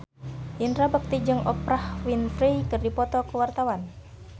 Indra Bekti jeung Oprah Winfrey keur dipoto ku wartawan